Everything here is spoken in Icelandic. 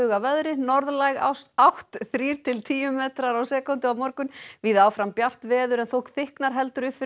að veðri norðlæg átt þrír til tíu metrar á sekúndu á morgun víða áfram bjart veður en þó þykknar heldur upp fyrir